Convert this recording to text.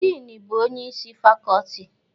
Dịnị bụ onyeisi fakọltị